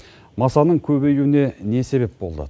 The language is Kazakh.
масаның көбеюіне не себеп болды